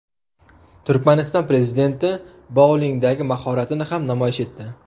Turkmaniston prezidenti boulingdagi mahoratini ham namoyish etdi .